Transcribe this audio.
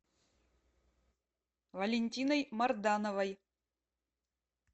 валентиной мардановой